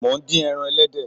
Mo ń dín ẹran ẹlẹ́dẹ̀